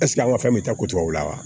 an ka fɛn bɛ taa ko tubabu la wa